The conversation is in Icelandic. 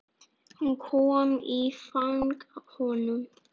Hún kom í fang honum.